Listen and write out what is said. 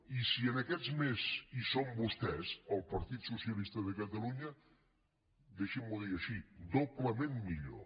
i si en aquests més hi són vostès el partit socialista de catalunya deixim’ho dir així doblement millor